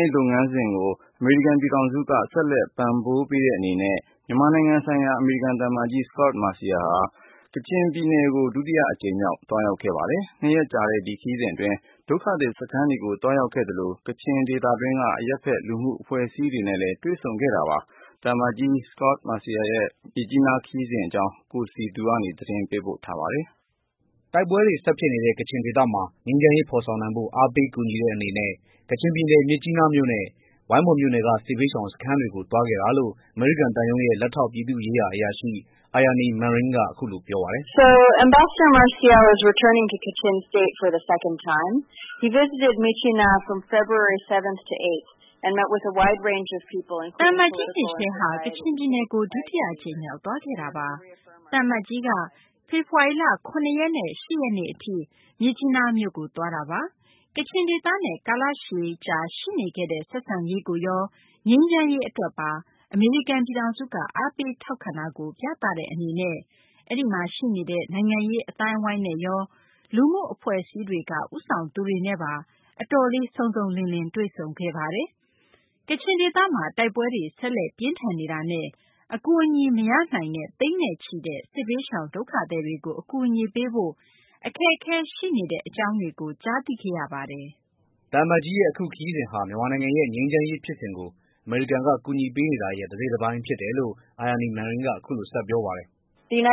ရေးလုပ်ငန်းစဉ်တွေကို အမေရိကန်ပြည်ထောင်စုက ဆက်လက် ပံ့ပိုးပေးတဲ့အနေနဲ့ မြန်မာနိုင်ငံဆိုင်ရာ အမေရိကန်သံအမတ်ကြီး Scot Marciel ကချင်ပြည်နယ်ကို ဒုတိယအကြိမ်မြောက် သွားရောက်ခဲ့ပါတယ်။ နှစ်ရက်ကြာတဲ့ ဒီခရီးစဉ်အတွင်း ဒုက္ခသည်စခန်းတွေကိုသွားရောက်ခဲ့သလို ကချင်ဒေသတွင်းက အရပ်ဖက် လူမှုအဖွဲ့အစည်းတွေနဲ့ တွေ့ဆုံခဲ့ပါတယ်။ သံအမတ်ကြီး Scot Marciel ရဲ့ မြစ်ကြီးနားခရီးစဉ်အကြောင်း ကိုစည်သူက ပြောပြပေးမှာပါ။ တိုက်ပွဲတွေဆက်ဖြစ်နေတဲ့ ကချင်ဒေသမှာ ငြိမ်းချမ်းရေး ဖော်ဆောင်နိုင်ဖို့ အားပေး ကူညီတဲ့အနေနဲ့ ကချင်ပြည်နယ် မြစ်ကြီးနားမြို့နဲ့ ဝိုင်းမော်မြို့နယ်က စစ်ဘေးရှောင် စခန်းတွေဆီကို သွားခဲ့တာလို့အမေရိကန် သံရုံးရဲ့ လက်ထောက် ပြည်သူ့ရေးရာ အရာရှိ Aryani Manring က အခုလို ပြောပါတယ်။ "သံအမတ်ကြီး Marciel ဟာ ကချင်ပြည်နယ် ဒုတိယအကြိမ်မြောက် သွားခဲ့တာပါ။ သံအမတ်ကြီးဟာ ဖေဖော်ဝါရီ ၇ ရက်နဲ့ ၈ ရက် အထိ မြစ်ကြီးနားမြို့ကို သွားတာပါ။ ကချင်ဒေသနဲ့ ကာလရှည်ကြာ ရှိနေခဲ့တဲ့ ဆက်ဆံရေးကိုရော ငြိမ်းချမ်းရေးအတွက်ပါ အမေရိကန်ပြည်ထောင်စုက အားပေး ထောက်ခံတာကို ပြသတဲ့အနေနဲ့အဲဒီမှာရှိနေတဲ့ နိုင်ငံရေး အသိုင်းအဝိုင်းကော၊ လူမှုအဖွဲ့အစည်းတွေက ဦးဆောင်သူတွေနဲ့ပါ အတော်လေး စုံစုံလင်လင် တွေ့ဆုံခဲ့ပါတယ်။ ကချင်ဒေသမှာ တိုက်ပွဲတွေ ဆက်လက် ပြင်းထန်နေတာနဲ့ အကူအညီ မရရှိနိုင်တဲ့ သိန်းနဲ့ချီတဲ့ စစ်ဘေးရှောင် ဒုက္ခသည်တွေကို အကူအညီပေးဖို့ အခက်အခဲ ရှိနေတဲ့ အကြောင်းတွေကို ကြားသိခဲ့ရပါတယ်။" သံအမတ်ကြီးရဲ့ အခုခရီးစဉ်ဟာ မြန်မာနိုင်ငံရဲ့ ငြိမ်းချမ်းရေးဖြစ်စဉ်ကို အမေရိကန်က ကူညီပေးနေတာရဲ့ တစိတ်တပိုင်း ဖြစ်တယ်လို့ Aryani Manring က ဆက်ပြောပါတယ်။ "မြန်မာ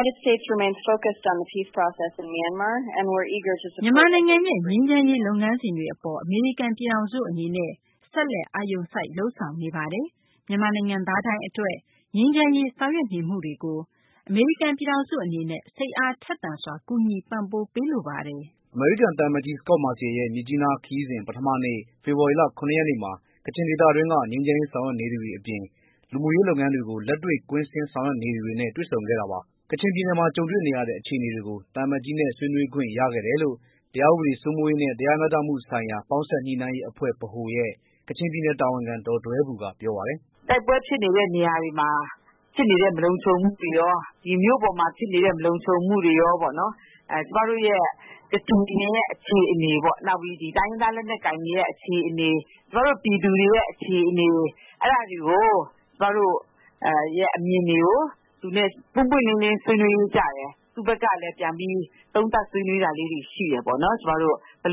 နိုင်ငံရဲ့ ငြိမ်းချမ်းရေးလုပ်ငန်းစဉ်တွေအပေါ် အမေရိကန်ပြည်ထောင်စုအနေနဲ့ ဆက်လက် အာရုံစိုက် လုပ်ဆောင်နေပါတယ်။ မြန်မာနိုင်ငံသားတိုင်းအတွက် ငြိမ်းချမ်းရေး ဆောင်ရွက်နေမှုတွေကို အမေရိကန် ပြည်ထောင်စုအနေနဲ့ စိတ်အားထက်သန်စွာ ကူညီ ပံ့ပိုးပေးလိုပါတယ်။" အမေရိကန်သံအမတ်ကြီး Scot Marciel ရဲ့ မြစ်ကြီးနားခရီးစဉ် ပထမနေ့ ဖေဖော်ဝါရီလ ၇ ရက်နေ့မှာ ကချင်ဒေသတွင်းက ငြိမ်းချမ်းရေး ဆောင်ရွက်နေသူတွေ အပြင် လူမှုရေး လုပ်ငန်းတွေကို လက်တွေ့ကွင်းဆင်း ဆောင်ရွက်နေသူတွေနဲ့ တွေ့ဆုံခဲ့တာပါ။ ကချင်ပြည်နယ်မှာ ကြုံတွေ့နေရတဲ့ အခြေအနေတွေကို သံအမတ်ကြီးနဲ့ ဆွေးနွေးခွင့် ရခဲ့တယ်လို့ တရားဥပဒေစိုးမိုးရေးနဲ့ တရားမျှတမှုဆိုင်ရာ ပေါင်းစပ် ညှိနှိုင်းရေးအဖွဲ့ ဗဟိုရဲ့ ကချင်ပြည်နယ်တာဝန်ခံ ဒေါ်ဒွဲဘူက ပြောပါတယ်။ "တိုက်ပွဲဖြစ်နေတဲ့နေရာတွေမှာ ဖြစ်နေတဲ့ မလုံခြုံမှုတွေရော မြို့ပေါ်မှာဖြစ်နေတဲ့ မလုံခြုံမှုတွေရော ပေါ့နော် ကျွန်မတို့ရဲ့ ကချင်ပြည်နယ်ရဲ့ အခြေအနေပေါ့ ။ နောက်ပိုင်း တိုင်းရင်းသား လက်နက်ကိုင်တွေရဲ့ အခြေအနေ၊ ကျွန်မတို့ ပြည်သူတွေရဲ့ အခြေအနေ၊ ကျွန်မတို့ရဲ့ အမြင်တွေကို သူနဲ့ ပွင့်ပွင့်လင်းလင်း ဆွေးနွေးကြတယ်။ သူ့ဖက်ကလည်း ပြန်ပြီး သုံးသပ် ဆွေးနွေးတာလေးတွေ ရှိတယ်ပေါ့နော်။ ဘယ်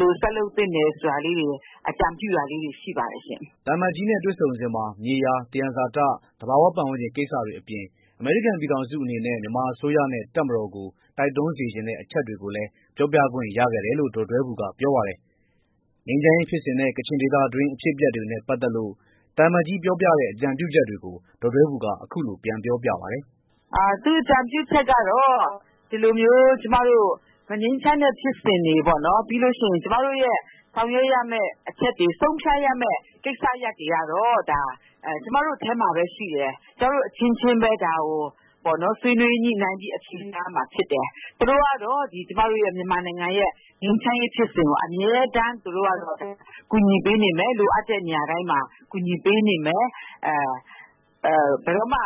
လို ဆက်လုပ်သင့်တယ် ဆိုတာလေးတွေ အကြံပြုတာလေးတွေ ရှိပါတယ်ရှင့်" သံအမတ်ကြီးနဲ့တွေ့ဆုံစဉ်မှာ မြေယာ သယံဇာတ သဘာဝပတ်ဝန်းကျင် ကိစ္စတွေအပြင် အမေရိကန် ပြည်ထောင်စုအနေနဲ့ မြန်မာအစိုးရနဲ့ တပ်မတော်ကို တိုက်တွန်းစေချင်တဲ့ အချက်တွေကိုလည်း ပြောပြခွင့် ရခဲ့တယ်လို့ ဒေါ်ဒွဲဘူကပြောပါတယ်။ ငြိမ်းချမ်းရေးဖြစ်စဉ်နဲ့ ကချင်ဒေသတွင်း အဖြစ်အပျက်တွေနဲ့ ပတ်သတ်လို့ သံအမတ်ကြီး ပြောပြတဲ့ အကြံပြုချက်တွေကို ဒေါ်ဒွဲဘူက အခုလို ပြန်ပြောပြပါတယ်။ "သူ့အကြံပြုချက်ကတော့ ဒီလိုမျိုး မငြိမ်းချမ်းတဲ့ ဖြစ်စဉ်တွေပေါ့နော်၊ ကျွန်မတို့ရဲ့ ဆောင်ရွက်ရမယ့် အချက်တွေ၊ ဆုံးဖြတ်ရမယ့် ကိစ္စရပ်တွေကတော့ ကျွန်မတို့ထဲမှာပဲ ရှိတယ်။ ကျွန်မတို့ အချင်းချင်းပဲ ဒါကို ဆွေးနွေးညှိနှိုင်းပြီး အဖြေရှာရမှာ ဖြစ်တယ်။ သူတို့ကတော့ ကျွန်မတို့ မြန်မာနိုင်ငံရဲ့ ငြိမ်းချမ်းရေးဖြစ်စဉ်ကို အမြဲတမ်း သူတို့ကတော့ ကူညီပေးနေမယ်။ လိုအပ်တဲ့ နေရာတိုင်းမှာ ကူညီပေးနေမယ်။ ဘယ်တော့မှ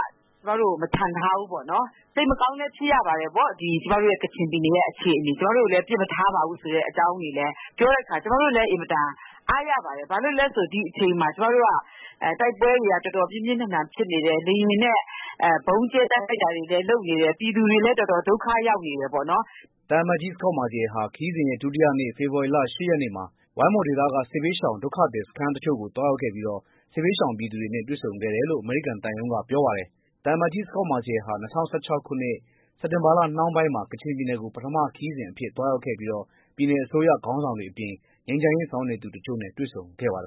ကျွန်မတို့ကို မချန်ထားဘူး ပေါ့နော်။ စိတ်မကောင်းလည်း ဖြစ်ရပါတယ်ပေါ့။ ကျွန်မတို့ရဲ့ ကချင်ပြည်နယ်ရဲ့ အခြေအနေကိုလေ။ ပစ်မထားပါဘူးဆိုတဲ့ အကြောင်းတွေလည်း ပြောတဲ့အခါ ကျွန်မတို့လည်း အင်မတန် အားရပါတယ်။ ဘာလို့လဲဆိုတော့ ဒီအချိန်မှာ ကျွန်မတို့က တိုက်ပွဲတွေက တော်တော် ပြင်းပြင်းထန်ထန် ဖြစ်နေတယ်။ လေယာဉ်နဲ့ ဗုံးကြဲ တိုက်ခိုက်တာတွေလည်း လုပ်နေတယ်။ လူတွေလည်း တော်တော် ဒုက္ခ ရောက်နေတယ်ပေါ့နော်။" သံအမတ်ကြီးဟာ ခရီးစဉ်ရဲ့ ဒုတိယနေ့ ဖေဖော်ဝါရီလ ၈ ရက်နေ့မှာ ဝိုင်းမော်ဒေသက စစ်ဘေးရှောင် ဒုက္ခသည်စခန်း တချို့ကို သွားရောက်ခဲ့ပြီး စစ်ဘေးရှောင်ပြည်သူတွေနဲ့ တွေ့ဆုံခဲ့တယ်လို့ အမေရိကန်သံရုံးက ပြောပါတယ်။ သံအမတ်ကြီး Scot Marciel ဟာ ၂၀၁၆ ခုနှစ်၊ စက်တင်ဘာလ နှောင်းပိုင်းမှာ ကချင်ပြည်နယ်ကို ပထမ ခရီးစဉ်အဖြစ် သွားရောက်ခဲ့ပြီး ပြည်နယ်အစိုးရ ခေါင်းဆောင်တွေအပြင် ငြိမ်းချမ်းရေး ဆောင်ရွက်နေသူ တချို့နဲ့လည်း တွေ့ဆုံခဲ့ပါတယ